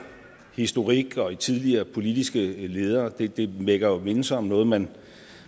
historik og i tidligere politiske ledere det det vækker jo mindelser om noget man